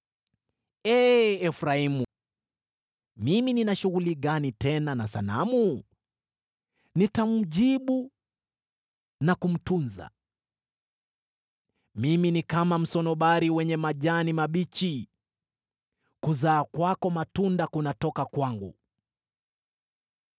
Ee Efraimu, nina shughuli gani tena na sanamu? Nitamjibu na kumtunza. Mimi ni kama msunobari wenye majani mabichi; kuzaa kwako matunda kunatoka kwangu.”